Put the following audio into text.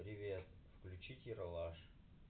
привет включить ералаш